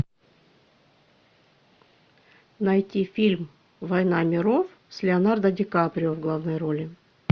найти фильм война миров с леонардо ди каприо в главной роли